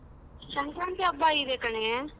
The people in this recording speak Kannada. ಸಂಕ್ರಾಂತಿ ಹಬ್ಬ ಇದೆ ಕಣೆ.